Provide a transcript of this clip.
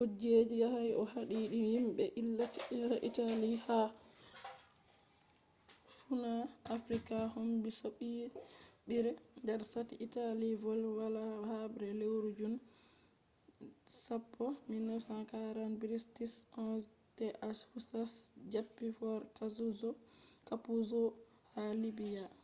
kujeji yahai no haadini himɓe italy ha fuuna afrika kombi soɓɓiire. nder sati italy voli hala habre leuru jun 10 1940 british 11th husas japti fort kapuzzo ha libya